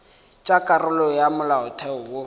tša karolo ya molaotheo wo